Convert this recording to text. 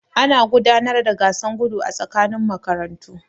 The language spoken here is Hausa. Ana gudanar da gasar gudu a tsakanin makarantu.